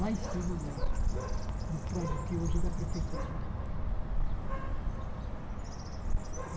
Lá em cima, no no prédio que hoje é da prefeitura né.